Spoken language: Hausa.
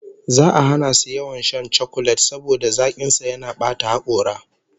Za'a hana su yawan shan chakulet saboda zakin sa yana bata hakora